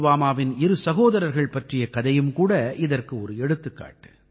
புல்வாமாவின் இரு சகோதரர்கள் பற்றிய கதையும் கூட இதற்கு ஒரு எடுத்துக்காட்டு